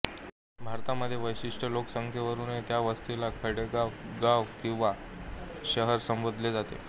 भारतामध्ये विशिष्ट लोकसंख्येवरून त्या वस्तीला खेडेगाव गाव किंवा शहर संबोधले जाते